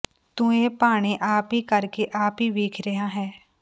ਤੂੰ ਇਹ ਭਾਣੇ ਆਪ ਹੀ ਕਰ ਕੇ ਆਪ ਹੀ ਵੇਖ ਰਿਹਾ ਹੈਂ